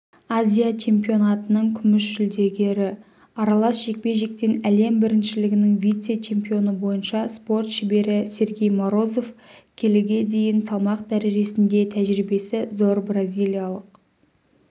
азия чемпионатының күміс жүлдегері аралас жекпе-жектен әлем біріншілігінің вице-чемпионы бойынша спорт шебері сергей морозов келіге дейін салмақ дәрежесінде тәжірибесі зор бразилиялық